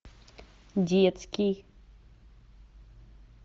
детский